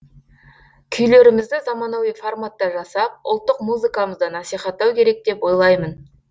күйлерімізді заманауи форматта жасап ұлттық музыкамызды насихаттау керек деп ойлаймын